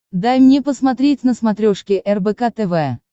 дай мне посмотреть на смотрешке рбк тв